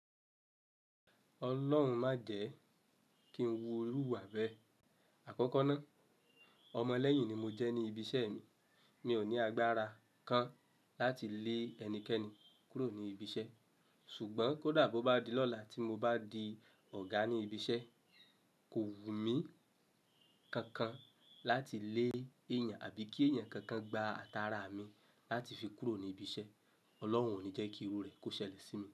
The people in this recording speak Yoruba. Ọlọ́run má jẹ́ kí n wu irú ìwà bẹ́ẹ̀. Àkọ́kọ́ náà, ọmọ lẹ́yìn ni mo jẹ́ ní ibi iṣẹ́ mi. Mi ò ní agbára kan láti lé ẹnikẹ́ni kúrò ní ibi iṣẹ́. Ṣùgbọ́n kò dà bó bá di lọ́la tí mo bá di ọ̀gá ní ibi iṣẹ́, kò wùmí kankan láti lé èyàn àbí kí èyàn kankan gba ata ara mi láti fi kúrò ní ibi iṣẹ́. Ọlọ́hun ò ní jẹ́ kí irú rẹ̀ kó ṣẹlẹ̀ sí mi.